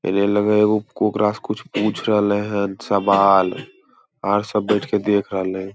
कुछ पूछ राईल है सवाल और सब बैठ के देख राल है।